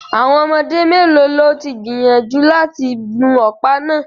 Àwọn ọmọdé mélòó ló gbìyànjú láti gun ọ̀pá náà